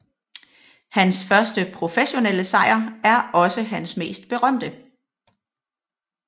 Hans første professionelle sejr er også hans mest berømte